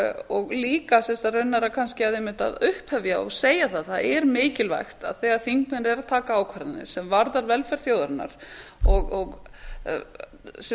og líka sem sagt raunar kannski einmitt að upphefja og segja það að það er mikilvægt að þegar þingmenn eru að taka ákvarðanir sem varða velferð þjóðarinnar sem við erum